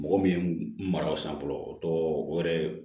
Mɔgɔ min ye n mara o san fɔlɔ o tɔgɔ o yɛrɛ ye